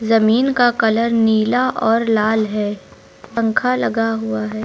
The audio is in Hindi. जमीन का कलर नीला और लाल है पंखा लगा हुआ है।